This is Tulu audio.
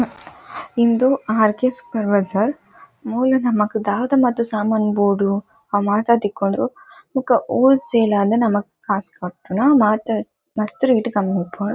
ಇಂದು ಆರ್ ಕೆ ಸೂಪರ್ ಬಜಾರ್. ಮೂಲು ನಮಕ್ ದಾದ ಮಾತ ಸಾಮಾನ್ ಬೋಡು ಅವ್ ಮಾತ ತಿಕ್ಕುಂಡು ಬೊಕ್ಕ ಹೋಲ್ ಸೇಲ್ ಆದ್ ನಮಕ್ ಕಾಸ್ ಕಟ್ಟುನ ಮಾತ ಮಸ್ತ್ ರೇಟ್ ಕಮ್ಮಿ ಉಪ್ಪುಂಡು.